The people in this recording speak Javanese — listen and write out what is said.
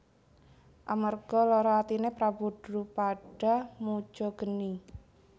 Amarga lara atine Prabu Drupada muja geni